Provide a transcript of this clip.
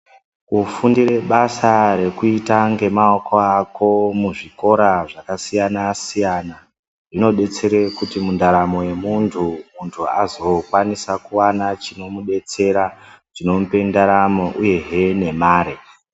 Ku fundire basa rekuita nge maoko ako mu zvikora zvaka siyana siyana zvino detsere kuti mu ndaramo ye muntu muntu azo kwanisa kuwana chino mudetsera chino mupe ndaramo uyehe ne mare.